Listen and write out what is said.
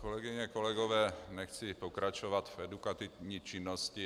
Kolegyně, kolegové, nechci pokračovat v edukativní činnosti.